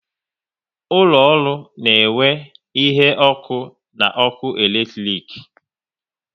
Ụlọ ọrụ na enwe ihe ọkụ na ọkụ eletrik